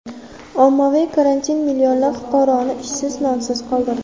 Ommaviy karantin millionlab fuqaroni ishsiz, nonsiz qoldirdi.